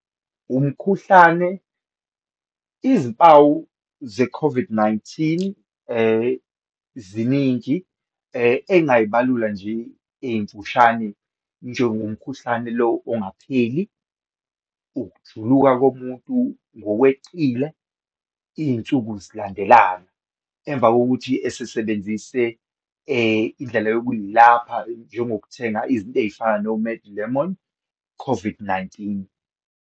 Umkhuhlane, izimpawu ze-COVID-19 ziningi engingayibalula nje ezimfushane, njengomkhuhlane lo ongapheli, ukujuluka komuntu ngokweqile iyinsuku zilandelana, emva kokuthi esebenzise indlela yokuyilapha njengo ukuthenga izinto eyifana no-Med Lemon, COVID-19.